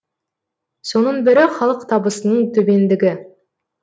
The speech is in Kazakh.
соның бірі халық табысының төмендігі